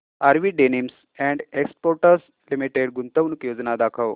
RV denims and exports limited गुंतवणूक योजना दाखव